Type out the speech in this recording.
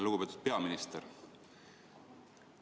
Lugupeetud peaminister!